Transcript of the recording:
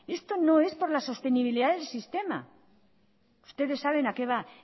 esto no es por la sostenibilidad del sistema ustedes saben a qué va